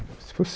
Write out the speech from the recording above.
Se fosse